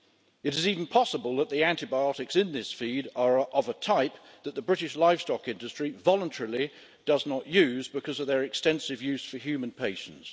It is even possible that the antibiotics in this feed are of a type that the British livestock industry voluntarily does not use because of their extensive use for human patients.